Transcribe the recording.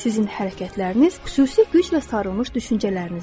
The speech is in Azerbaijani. Sizin hərəkətləriniz xüsusi müjdə sarılmış düşüncələrinizdir.